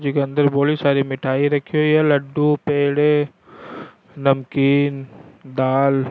इसी के अंदर बोली सारी मिठाई राखी हुई है लड्डू पेड़े नमकीन दाल --